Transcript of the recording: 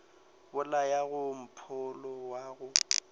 bolaya ka mpholo wa go